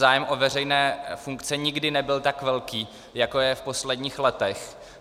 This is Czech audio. Zájem o veřejné funkce nikdy nebyl tak velký, jako je v posledních letech.